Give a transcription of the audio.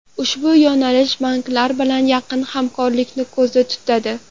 Ushbu yo‘nalish banklar bilan yaqin hamkorlikni ko‘zda tutadi.